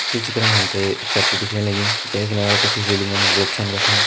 यह चित्र मा हम त एक सड़की दिखेण लगीं जैका किनार कुछ रेलिंग लोग छन बैठ्यां।